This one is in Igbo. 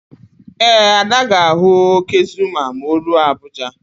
Ee, Ada ga-ahụ óké Zuma ma o ruo Abuja.